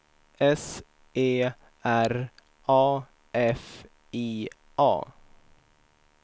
S E R A F I A